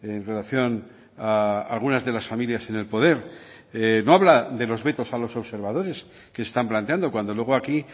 en relación a algunas de las familias en el poder no habla de los vetos a los observadores que se están planteando cuando luego aquí